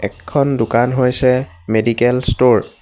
এখন দোকান হৈছে মেডিকেল ষ্ট'ৰ ।